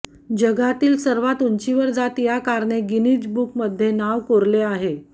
जगातील सर्वात उंचीवर जात या कारने गिनिज बुकमध्ये नाव कोरले आहे